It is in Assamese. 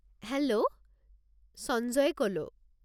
হেল্ল', সঞ্জয়ে ক'লো।